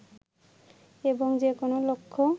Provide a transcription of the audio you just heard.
এবং যে কোনো লক্ষ্য